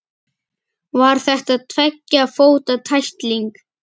Var þetta tveggja fóta tækling?